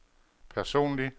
personlig